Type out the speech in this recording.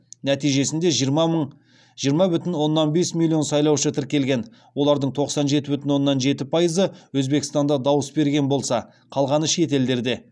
нәтижесінде жиырма бүтін оннан бес миллион сайлаушы тіркелген олардың тоқсан жеті бүтін оннан жеті пайызы өзбекстанда дауыс берген болса қалғаны шет елдерде